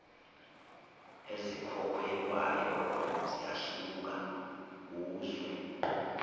ezikhokhelwayo ziyahluka kuzwe